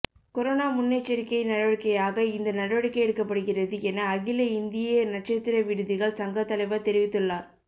corona முன்னெச்சரிக்கை நடவடிக்கையாக இந்த நடவடிக்கை எடுக்கப்படுகிறது என அகில இந்திய நட்சத்திர விடுதிகள் சங்கத் தலைவர் தெரிவித்துள்ளார்